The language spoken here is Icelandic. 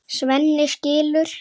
Svenni skilur.